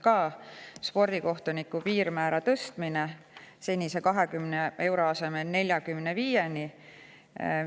Spordikohtuniku piirmäär tõstetakse senise 20 euro asemel 45 euroni.